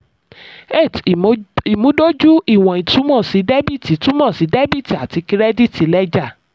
eight ìmúdójú ìwọ̀n túmọ̀ sí dẹ́bìtì túmọ̀ sí dẹ́bìtì àti kírẹ́díìtì lẹ́jà.